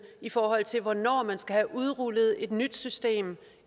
i forhold til hvornår man skal have udrullet et nyt system